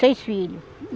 Seis filho.